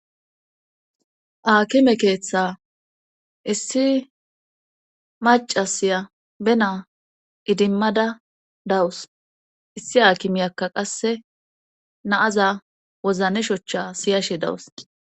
aakime keeththa issi maca siya be naa idimmada dawus issi aakimiyakka qasse naaza wozane shochcha siyashe dawus